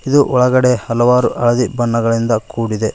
ಇದು ಒಳಗಡೆ ಹಲವಾರು ಹಳದಿ ಬಣ್ಣಗಳಿಂದ ಕೂಡಿದೆ.